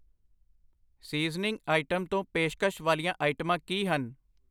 Seasoning item ਤੋਂ ਪੇਸ਼ਕਸ਼ ਵਾਲੀਆਂ ਆਈਟਮਾਂ ਕੀ ਹਨ?